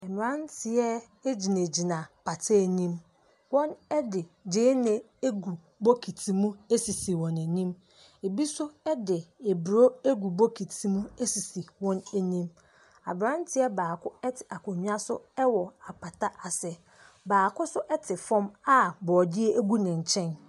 Mmranteɛ agyinagyina apata anim, wɔn ɛde gyeene agu bokiti mu asisi wɔn anim, ebi nso edi aburo agu bokiti asisi wɔn anim. Abranteɛ baako ɛte akonya so ɛwɔ apata ase. Baako nso ɛte fɔm a borɔde ɛgu ne nkyɛn.